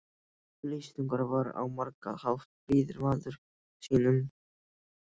Lýtingur var á margan hátt fríður maður sýnum.